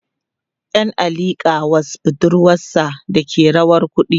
ƴan a liƙa was budurwasa Dake rawa kuɗi